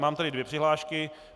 Mám tady dvě přihlášky.